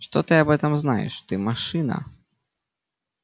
что ты об этом знаешь ты машина